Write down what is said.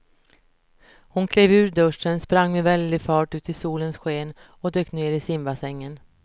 Hon klev ur duschen, sprang med väldig fart ut i solens sken och dök ner i simbassängen.